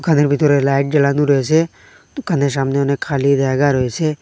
দোকানের ভিতরে লাইট জ্বালানো রয়েসে দোকানের সামনে অনেক খালি জায়গা রয়েছে।